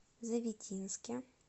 завитинске